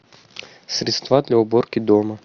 средства для уборки дома